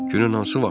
Günün hansı vaxtında?